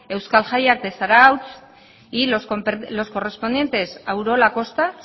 euskal jaiak de zarautz y los correspondientes a urola kosta